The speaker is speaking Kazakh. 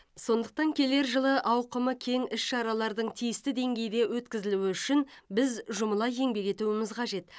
сондықтан келер жылы ауқымы кең іс шаралардың тиісті деңгейде өткізілуі үшін біз жұмыла еңбек етуіміз қажет